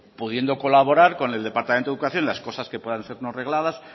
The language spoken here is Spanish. pues pudiendo colaborar con el departamento de educación en las cosas que puedan ser no regladas